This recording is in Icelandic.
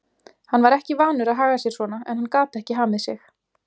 Hann var ekki vanur að haga sér svona en hann gat ekki hamið sig.